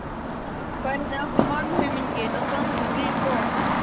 Hvernig átti mannauminginn að standast slík vopn?